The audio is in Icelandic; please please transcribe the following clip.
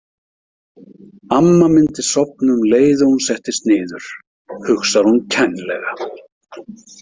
Amma myndi sofna um leið og hún settist niður, hugsar hún kænlega.